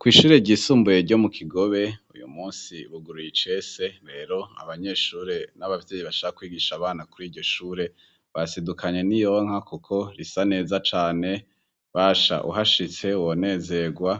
Kwishure ryisumbuye ryo mu kigobe uyu munsi buguruye icese rero abanyeshure n'abavyeyi bashaka kwigisha abana kuri iryo shure basidukanye niyonka kuko risa neza cane basha uhashitse wonezegwa